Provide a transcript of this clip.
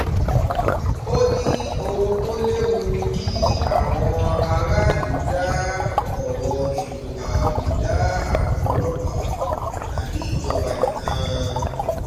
ó ní ohun tó léwu ni kí àwọn aráàlú dá ọ̀rọ̀ ètò ààbò dá àwọn ọlọ́pàá tàbí ìjọba nìkan